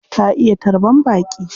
Ta iya tarban baƙi.